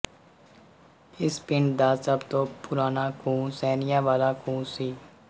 ਇਸ ਪਿੰਡ ਦਾ ਸਭ ਤੋਂ ਪੁਰਾਣਾ ਖੂਹ ਸੈਣੀਆਂ ਵਾਲਾ ਖੂਹ ਸੀ